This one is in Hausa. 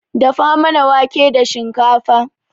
Dafa mana wanke da shikafa